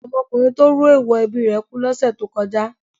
Ọmọkùnrin tó rú èèwọ̀ ẹbí rẹ̀ kú lọ́sẹ̀ tó kọjá.